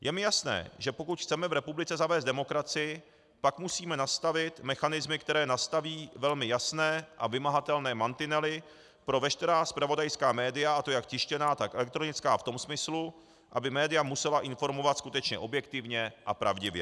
Je mi jasné, že pokud chceme v republice zavést demokracii, pak musíme nastavit mechanismy, které nastaví velmi jasné a vymahatelné mantinely pro veškerá zpravodajská média, a to jak tištěná, tak elektronická, v tom smyslu, aby média musela informovat skutečně objektivně a pravdivě.